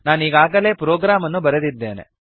ನಾನಿಗಾಗಲೇ program ಅನ್ನು ಬರೆದಿದ್ದೇನೆ